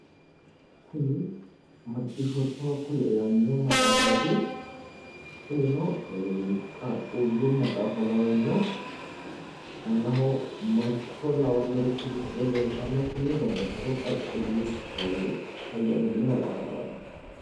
Kuni macciishoottoha kuli yaanno maxaafaati yaate kunino qaaqqullu maxaafa lawanno aanaho mancho lawannorichi misile leeltanno kuni babbaxxitewo qaaqqulli hayyo amadino maxaafa lawanno